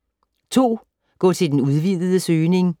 2. Gå til den udvidede søgning